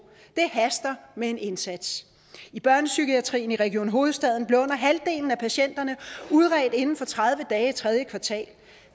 det haster med en indsats i børnepsykiatrien i region hovedstaden blev under halvdelen af patienterne udredt inden for tredive dage i tredje kvartal